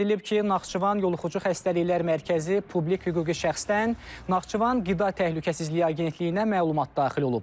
Qeyd edilib ki, Naxçıvan Yoluxucu Xəstəliklər Mərkəzi Publika hüquqi şəxsdən Naxçıvan Qida Təhlükəsizliyi Agentliyinə məlumat daxil olub.